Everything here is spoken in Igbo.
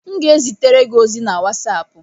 M ga-ezitere gị ozi na wasapu